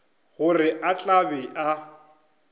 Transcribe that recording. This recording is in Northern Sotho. gore o tla be a